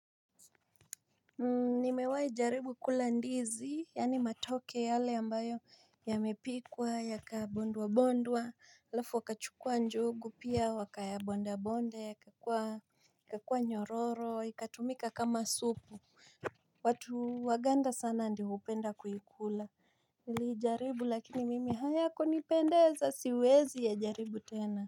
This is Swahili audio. Nimewahi jaribu kula ndizi, yaani matoke yale ambayo yamepikwa, yakabondwabondwa, halafu wakachukua njugu, pia wakayabondabonda, ya kakua nyororo, ikatumika kama supu. Watu waganda sana ndio hupenda kuikula. Nilijaribu lakini mimi hayakunipendeza siwezi ya jaribu tena.